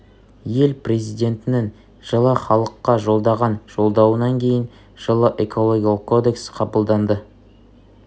ел президентінің жылы халыққа жолдаған жолдауынан кейін жылы экологиялық кодекс қабылданды